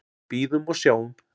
Bíðum og sjáum.